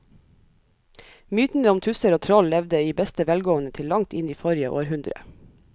Mytene om tusser og troll levde i beste velgående til langt inn i forrige århundre.